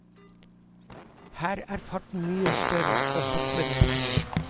Her er farten mye større og hoppene lengre.